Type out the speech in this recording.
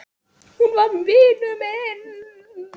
Hún var vinur minn.